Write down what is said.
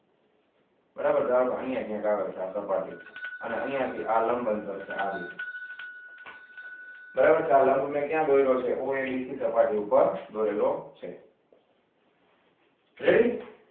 બરાબર અહિયાં ક્યાંક આવે છે આ સપાટી એ અને અહિયાં થી આ લંબ અંતર છે આરયો બરાબર આ લંબ મે ક્યાં દોરેલો છે oabc સપાટી ઉપર દોરેલો છે ready